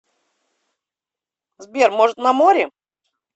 сбер может на море